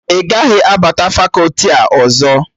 Ị gaghị abata fakọti a ọzọ!